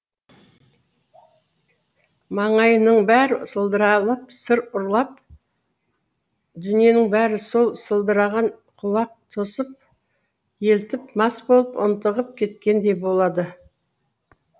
маңайыңның бәрі сылдыралап сыр ұрлап дүниенің бәрі сол сылдыраған құлақ тосып елтіп мас болып ынтығып кеткендей болады